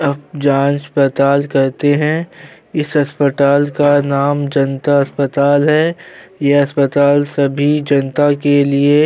अ जाँच पड़ताल करते है इस अस्पताल का नाम जनता अस्पताल है यह अस्पताल सभी जनता के लिए --